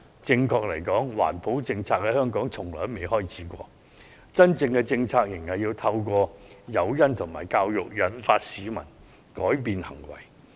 正確而言，環保政策在香港從來未開始過，真正的政策是應該透過誘因和教育，引導市民改變行為。